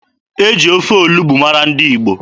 E ji ofe olugbu mara ndị Igbo.